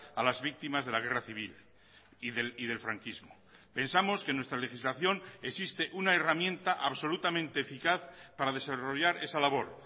a las víctimas de la guerra civil y del franquismo pensamos que nuestra legislación existe una herramienta absolutamente eficaz para desarrollar esa labor